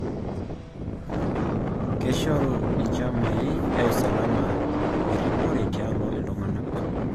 Keshoru inchamai e usalama erripore tialo iltung'anak